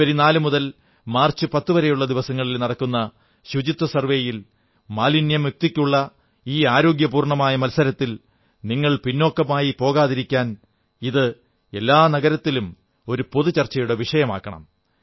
ജനുവരി 4 മുതൽ മാർച്ച് 10 വരെയുള്ള ദിവസങ്ങളിൽ നടക്കുന്ന ശുചിത്വ സർവ്വേയിൽ മാലിന്യമുക്തിക്കുള്ള ഈ ആരോഗ്യപൂർണ്ണമായ മത്സരത്തിൽ നിങ്ങൾ പിന്നോക്കമായിപ്പോകാതിരിക്കാൻ ഇത് എല്ലാ നഗരത്തിലും ഒരു പൊതു ചർച്ചയുടെ വിഷയമാകണം